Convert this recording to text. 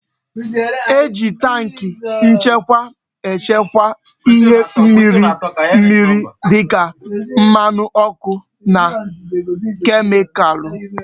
E ji tankị nchekwa echekwa ihe mmiri mmiri dịka mmanụ ọkụ na kemikalụ